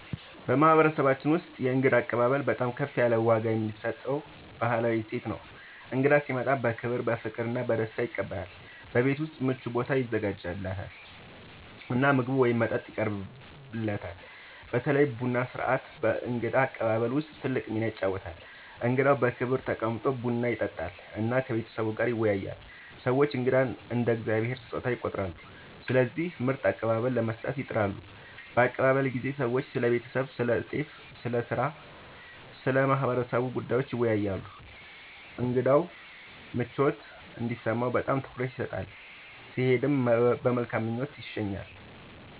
በማህበረሰባችን ውስጥ የእንግዳ አቀባበል በጣም ከፍ ያለ ዋጋ የሚሰጠው ባህላዊ እሴት ነው። እንግዳ ሲመጣ በክብር፣ በፍቅር እና በደስታ ይቀበላል፤ በቤት ውስጥ ምቹ ቦታ ይዘጋጃለት እና ምግብ ወይም መጠጥ ይቀርብለታል። በተለይ ቡና ሥርዓት በእንግዳ አቀባበል ውስጥ ትልቅ ሚና ይጫወታል፣ እንግዳው በክብር ተቀምጦ ቡና ይጠጣል እና ከቤተሰቡ ጋር ይወያያል። ሰዎች እንግዳን እንደ “የእግዚአብሔር ስጦታ” ይቆጥራሉ፣ ስለዚህ ምርጥ አቀባበል ለመስጠት ይጥራሉ። በአቀባበል ጊዜ ሰዎች ስለ ቤተሰብ፣ ስለ ጤና፣ ስለ ሥራ እና ስለ ማህበረሰቡ ጉዳዮች ይወያያሉ። እንግዳው ምቾት እንዲሰማው በጣም ትኩረት ይሰጣል፣ ሲሄድም በመልካም ምኞት ይሸኛል።